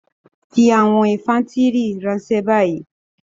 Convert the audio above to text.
Fi àwọn infàntiri ranṣẹ ni bayi!